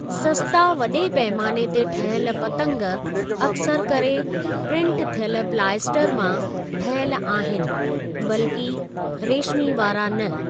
सस्ता वॾे पैमाने ते ठहियल पतंग अक्सर करे प्रिन्ट थियल पलाइएसटर मां ठहियल आहिनि बल्कि रेशिमी वारा न।